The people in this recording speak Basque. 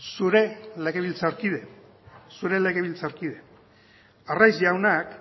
zure legebiltzarkide zure legebiltzarkide arraiz jaunak